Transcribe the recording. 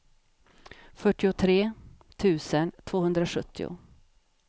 fyrtiotre tusen tvåhundrasjuttio